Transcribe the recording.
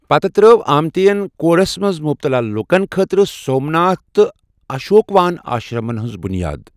پتہٕ ترٲو آمٹیَن کوڑھس منٛز مُبتلا لُکن خٲطرٕ 'سومناتھ' تہٕ 'اشوکوان' آشرمن ہٕنٛز بُنیاد۔